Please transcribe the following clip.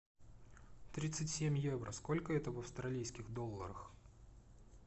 тридцать семь евро сколько это в австралийских долларах